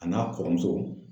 A n'a kɔrɔmuso.